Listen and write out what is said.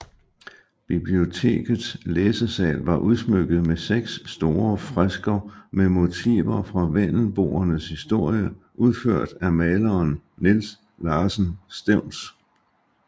Bibliotekets læsesal var udsmykket med seks store fresker med motiver fra vendelboernes historie udført af maleren Niels Larsen Stevns